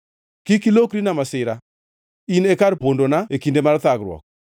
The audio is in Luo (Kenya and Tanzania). Kik ilokrina masira; in e kar pondana e kinde mar thagruok.